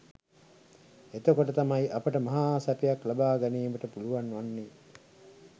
එතකොට තමයි අපට මහා සැපයක් ලබා ගැනීමට පුළුවන් වන්නේ